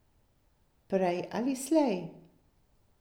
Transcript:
Prej ali slej.